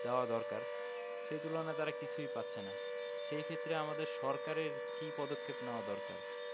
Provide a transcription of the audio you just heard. দেওয়া দরকার সেই তুলনায় তারা কিছুই পাচ্ছে না সেইখেত্রে আমাদের সরকারের কী পদক্ষেপ নেওয়া দরকার?